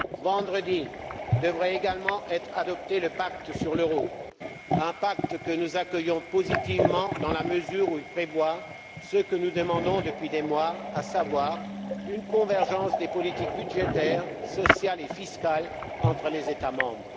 Vendredi devrait également être adopté le pacte sur l'euro, un pacte que nous accueillons positivement dans la mesure où il prévoit ce que nous demandons depuis des mois, à savoir une convergence des politiques budgétaires, sociales et fiscales entre les États membres.